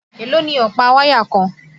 Èló ni ọ̀pá wáyà kan?